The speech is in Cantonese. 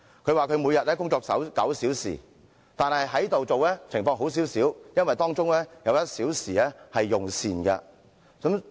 她說每天工作9小時，但在立法會工作的情況較好，因為可享有1小時用膳時間。